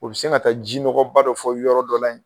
O be se ka taa jinɔgɔba dɔ fɔ yɔrɔ dɔ la yen